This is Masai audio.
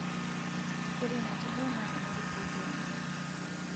ore ina tito naa ene risioti ai